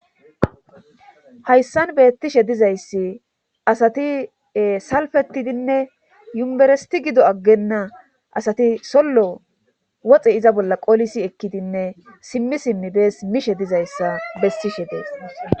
Hayssan beettishe dizayssi asati salfetidinne yumeresti gido aggenna asati sollo woxe iza bolla qolisi ekkidinne simmi simmi bees mishe dizayssa bessishe deess.